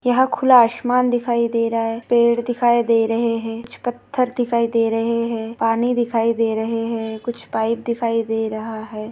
यह खुला आसमान दिखाई दे रहा है पेड़ दिखाई दे रहे है कुछ पत्थर दिखाई दे रहे है पानी दिखाई दे रहे है कुछ पाइप दिखाई दे रहा है।